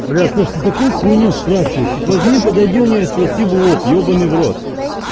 бля слушай ты такую хуйню спрашиваешь вот возьми подойди у нее спроси в лоб ебанный в рот